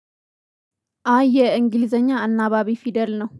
አ የ እንግሊዘኛ አናባቢ ፊደል ነው